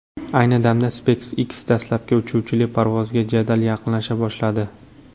Ayni damda SpaceX dastlabki uchuvchili parvozga jadal yaqinlasha boshladi.